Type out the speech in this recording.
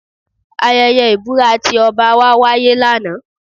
Ayẹyẹ ìbúra ti ọba wa wáyé lánàá